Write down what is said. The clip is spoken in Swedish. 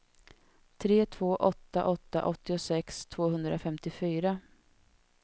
tre två åtta åtta åttiosex tvåhundrafemtiofyra